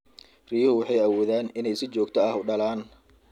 Riyuhu waxay awoodaan inay si joogta ah u dhalaan.